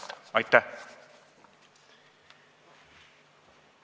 Aitäh!